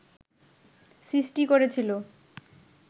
সৃষ্টি করেছিল